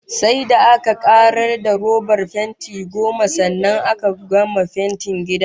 Sai da aka karar da robat fenti goma sannan aka gama fentin gidan